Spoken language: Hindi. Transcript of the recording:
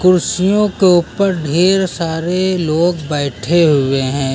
कुर्सियों के ऊपर ढेर सारे लोग बैठे हुए हैं।